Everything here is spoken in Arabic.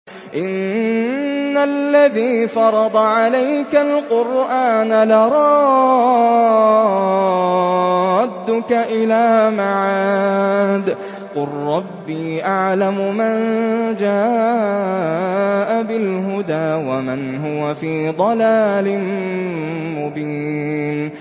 إِنَّ الَّذِي فَرَضَ عَلَيْكَ الْقُرْآنَ لَرَادُّكَ إِلَىٰ مَعَادٍ ۚ قُل رَّبِّي أَعْلَمُ مَن جَاءَ بِالْهُدَىٰ وَمَنْ هُوَ فِي ضَلَالٍ مُّبِينٍ